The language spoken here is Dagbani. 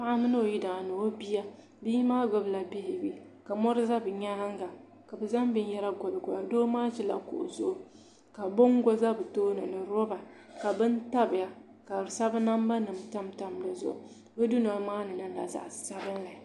Paɣa mini o yidana ni o bia bia maa ɡbubila beebi ka mɔri za bɛ nyaaŋa ka bɛ zaŋ binyɛra ɡoliɡoli doo maa ʒila kuɣu zuɣu ka bɔŋɡo za bɛ tooni ni lɔba ka bini tabiya ka di sabi nambanima tamtam di zuɣu bɛ dunoli maa ni niŋla zaɣ' sabinli